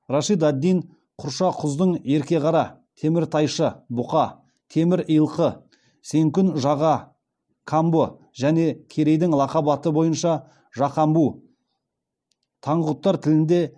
рашид ад дин құршақұздың ерке қара теміртайшы бұқа темір илқы сенкун жаға камбұ және керейдің лақап аты бойынша жақамбу таңғұттар тілінде